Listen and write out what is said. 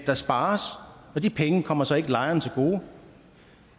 der spares og de penge kommer så ikke lejerne til gode